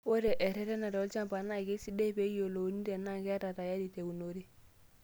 Ore eretenare olchamba naa keisidai pee eiyiolouni tenaa ketaa tayari teunore.